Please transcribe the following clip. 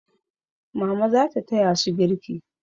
Mama za ta taya su girki.